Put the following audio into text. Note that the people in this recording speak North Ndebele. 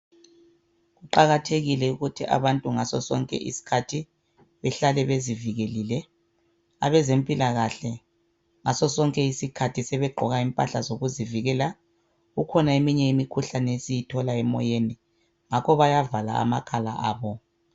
Kuqakathekile ukuthi abantu ngasosonke isikhathi behlale bezivikelile abezempilakahle ngasosonke isikhathi sebegqoka impahla zokuzivikela kukhona eminye imikhuhlane esiyithola emoyeni ngakho bayavala amakhala abo.